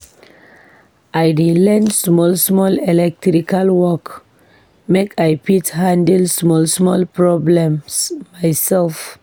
I dey learn small small electrical work make I fit handle small small problems myself.